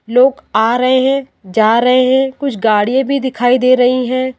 लोग आ रहे हैं जा रहे हैं कुछ गाड़िये भी दिखाई दे रही हैं।